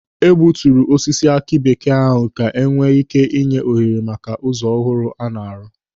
Egbuturu osisi aki bekee ahụ ka enwee ị́ké nye ohere maka ụzọ ọhụrụ a na-arụ.